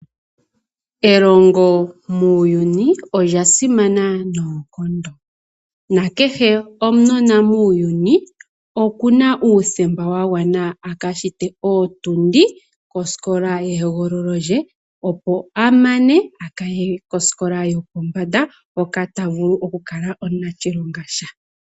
Elongo olya simana muuyuni noonkondo na kehe okanona muuyuni okena uuthemba kaye kosikola ye hogolola lyako, opo a mane aye kosikola yo pombanda aka ninge omunashilonga gwasha.